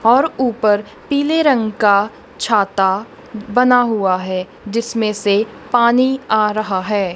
और ऊपर पीले रंग का छाता बना हुआ है जिसमें से पानी आ रहा है।